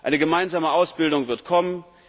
Eine gemeinsame Ausbildung wird kommen.